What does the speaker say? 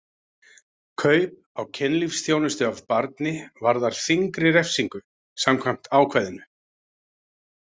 Kaup á kynlífsþjónustu af barni varðar þyngri refsingu samkvæmt ákvæðinu.